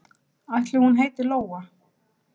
Ætli hún heiti Lóa?